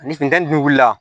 Ni funteni dun wulila